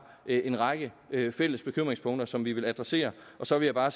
en række fælles bekymringspunkter som vi vil adressere så vil jeg bare